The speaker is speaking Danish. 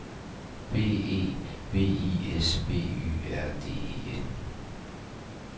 B E V I S B Y R D E N